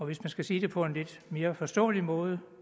hvis man skal sige det på en lidt mere forståelig måde